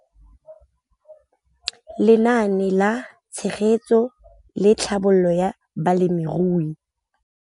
Lenaane la Tshegetso le Tlhabololo ya Balemirui